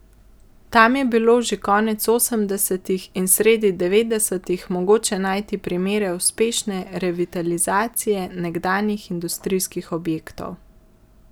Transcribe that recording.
Tam je bilo že konec osemdesetih in sredi devetdesetih mogoče najti primere uspešne revitalizacije nekdanjih industrijskih objektov.